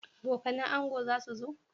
Abokanan ango zasu zo?